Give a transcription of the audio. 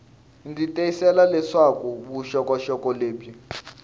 ndzi tiyisisa leswaku vuxokoxoko lebyi